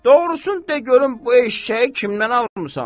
Doğrusunu de görüm, bu eşşəyi kimdən almısan?